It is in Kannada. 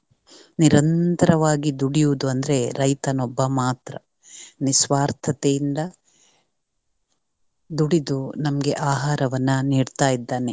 ನಿರಂತರವಾಗಿ ದುಡಿಯುವುದು ಅಂದ್ರೆ ರೈತನೊಬ್ಬನು ಮಾತ್ರ ನಿಸ್ವಾರ್ಥತೆಯಿಂದ ದುಡಿದು ನಮಗೆ ಆಹಾರವನ್ನು ನೀಡ್ತಾ ಇದ್ದಾನೆ.